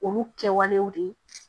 Olu kɛwalew de ye